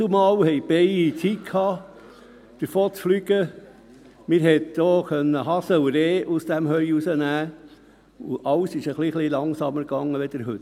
Dazumal hatten die Bienen Zeit, wegzufliegen, man konnte auch Hasen und Rehe aus dem Heu herausnehmen, und alles ging ein bisschen langsamer als heute.